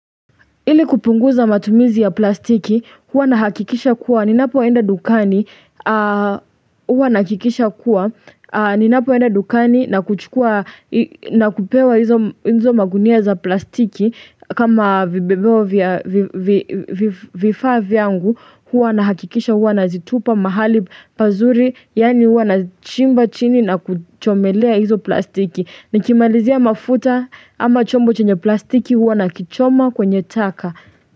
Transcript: Ili kupunguza matumizi ya plastiki, huwa nahakikisha kuwa, ninapo enda dukani, huwa nahakikisha kuwa, ninapo enda dukani nakuchukua, na kupewa hizo magunia za plastiki, kama vifaa yangu, huwa nahakikisha huwa nazitupa mahali pazuri, yaani huwa nachimba chini na kuchomelea hizo plastiki. Nikimalizia mafuta ama chombo chenye plastiki huwa nakichoma kwenye taka.